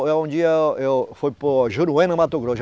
um dia eu fui, Mato Grosso.